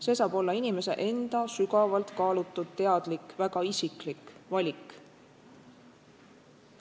See saab olla inimese enda sügavalt kaalutud teadlik, väga isiklik valik.